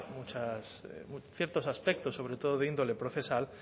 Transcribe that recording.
ciertos aspectos sobre todo de índole procesal